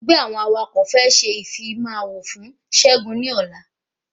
Ẹgbẹ́ àwọn awakọ̀ fẹ́ ṣe ìfimawo fún ṣẹgun ní ọ̀la